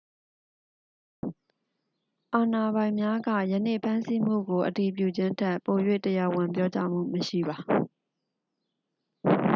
အာဏာပိုင်များက ယနေ့ဖမ်းဆီးမှုကို အတည်ပြုခြင်းထက် ပို၍ တရားဝင်ပြောကြားမှုမရှိပါ